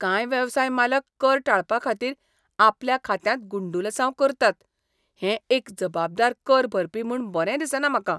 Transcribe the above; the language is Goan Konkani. कांय वेवसाय मालक कर टाळपा खातीर आपल्या खात्यांत गुड्डुलसांव करतात हें एक जबाबदार कर भरपी म्हूण बरें दिसना म्हाका.